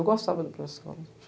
Eu gostava de ir para a escola.